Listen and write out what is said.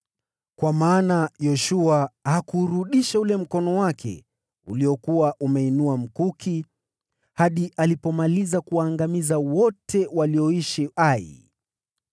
Kwa maana Yoshua hakuurudisha ule mkono wake uliokuwa umeuinua mkuki hadi alipomaliza kuwaangamiza wote walioishi Ai.